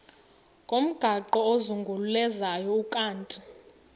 ngomgaqo ozungulezayo ukanti